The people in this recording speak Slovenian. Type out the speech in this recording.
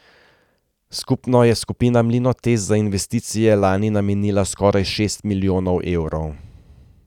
Skupno je skupina Mlinotest za investicije lani namenila skoraj šest milijonov evrov.